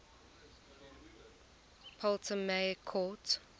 ptolemaic court